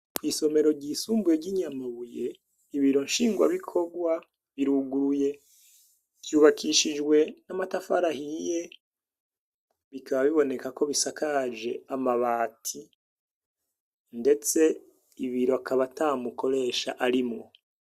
kw'isomero ryisumbuye ry'i Nyamabuye ibiro nshingwabikorwa biruguruye. Vyubakishijwe n'amatafari ahiye bikaba biboneka ko bisakaje amabati ndetse ibiro akaba ata mukoresha arimwo.